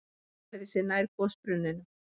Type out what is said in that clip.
Hún færði sig nær gosbrunninum.